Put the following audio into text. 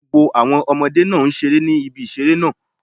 Gbogbo àwọn Ọmọdé náà n seré ní ibi ìṣeré náà